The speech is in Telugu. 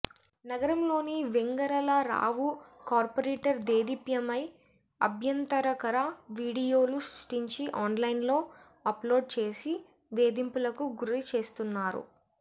నగరంలోని వెంగరళరావు కార్పొరేటర్ దేదీప్యపై అభ్యంతరకర వీడియోలు సృష్టించి ఆన్లైన్లో అప్లోడ్చేసి వేధింపులకు గురిచేస్తున్నారు